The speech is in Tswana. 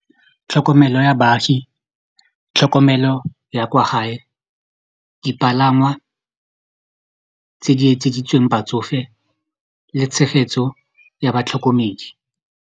Tlhokomelo ya baagi tlhokomelo ya kwa gae dipalangwa tse di etseditsweng batsofe le tshegetso ya batlhokomedi.